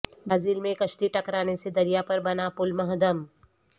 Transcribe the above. Brazil میں کشتی ٹکرانے سے دریا پر بنا پل منہدم